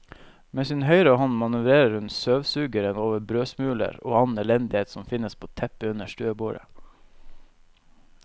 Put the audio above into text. Med sin høyre hånd manøvrerer hun støvsugeren over brødsmuler og annen elendighet som finnes på teppet under stuebordet.